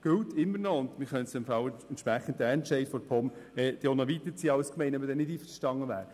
Eine Gemeinde könnte entsprechend den Entscheid der POM auch noch weiterziehen, wenn sie damit nicht einverstanden wäre.